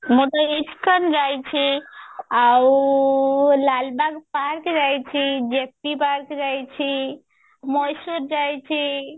ମୁଁ ତ ଇସ୍କନ ଯାଇଛି ଆଉ ଲାଲବାଗ park ଯାଇଛି JP park ଯାଇଛି ମୟୀଶୁର ଯାଇଛି